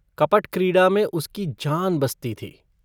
कपट-क्रीड़ा में उसकी जान बसती थी।